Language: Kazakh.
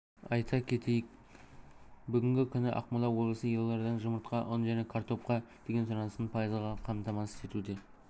айта кететйік бүгінгі күні ақмола облысы елорданың жұмыртқа ұн және картопқа деген сұранысын пайызға қамтамасыз етуде